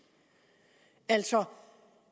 altså